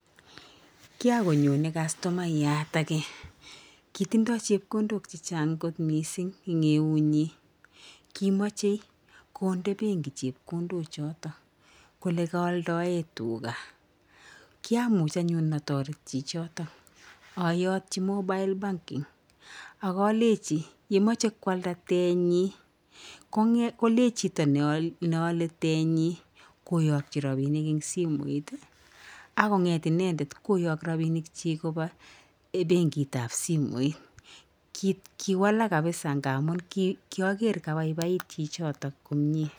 Kiagonyonei customayat age kitindoi chepkondok chechang' kot mising eng' eunyi. Kiamchei konde benki chepkondo choto kole kaaldaee tuga. Kiamuj anyun atoret chichoto ayatji mobile banking akaleji yemachei kwalda tennyi kolech chito nealei tennyi koyakji robinik eng simooit. Akong'et inendet koyaak robinikchi kopa benkitab simooit. Kiwalaak kabisa ngamuu kiager kabaibait chichoto komiee.